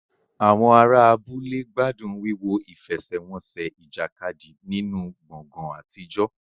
Àwọn ará abúlé gbádùn wíwo ìfẹsẹ̀wọnsẹ̀ ìjàkadì nínú gbọ̀ngàn àtijọ́.